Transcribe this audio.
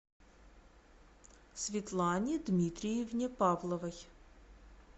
светлане дмитриевне павловой